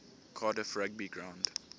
cardiff rugby ground